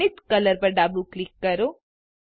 zenith colour પર ડાબું click કરો